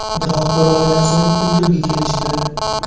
Biroq bir oydan so‘ng tintuvga kelishdi.